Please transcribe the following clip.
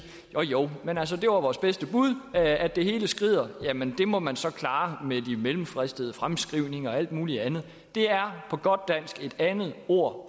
jo jo men altså det var vores bedste bud at det hele skrider jamen det må man så klare med de mellemfristede fremskrivninger og alt muligt andet det er på godt dansk et andet ord